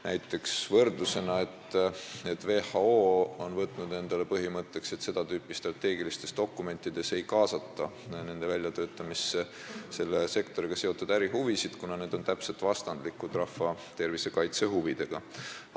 Näiteks toon võrdluse, et WHO on võtnud põhimõtteks, et seda tüüpi strateegiliste dokumentide väljatöötamisse ei kaasata neid, kellel on selles sektoris ärihuvisid, kuna need huvid on täpselt vastandlikud rahva tervise kaitse huvidega.